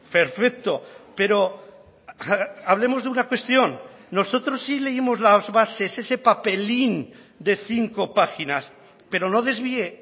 perfecto pero hablemos de una cuestión nosotros sí leímos las bases ese papelín de cinco páginas pero no desvíe